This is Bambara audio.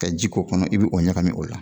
ka ji k'o kɔnɔ i be o ɲagamin o la